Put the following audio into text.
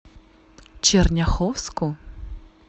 черняховску